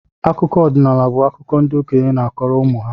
Akụkọ ọdinaala bu akụkọ ndị okenye na-akọrọ ụmụ ha